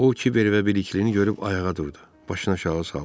O Kiber və birliyini görüb ayağa durdu, başını aşağı saldı.